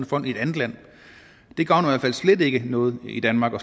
fond i et andet land det gavner i hvert fald slet ikke noget i danmark og